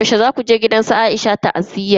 Yaushe zaku je gidan su Aisha ta'aziyya?